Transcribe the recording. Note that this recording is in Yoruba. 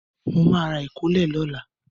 Mo ma ra ìkólẹ̀ lọ́la.